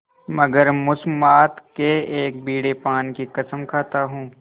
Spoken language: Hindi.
मगर मुसम्मात के एक बीड़े पान की कसम खाता हूँ